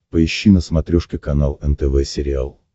поищи на смотрешке канал нтв сериал